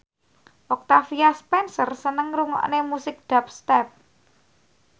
Octavia Spencer seneng ngrungokne musik dubstep